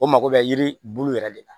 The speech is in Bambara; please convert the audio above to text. O mako bɛ yiri bulu yɛrɛ de la